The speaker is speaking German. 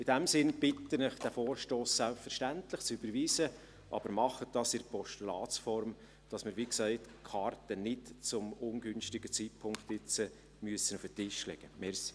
In diesem Sinne bitte ich Sie, diesen Vorstoss selbstverständlich zu überweisen, aber tun Sie dies in der Form eines Postulats, damit wir die Karten, wie gesagt, nicht zu einem ungünstigen Zeitpunkt auf den Tisch legen müssen.